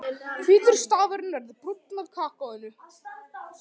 Hvítur stafurinn verður brúnn af kakóinu.